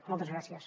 moltes gràcies